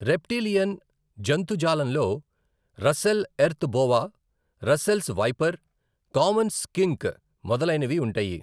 Reptilian జంతుజాలంలో Russell earth boa, Russell's viper, common skink మొదలైనవి ఉంటాయి.